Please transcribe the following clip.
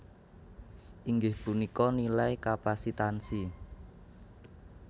inggih punika nilai kapasitansi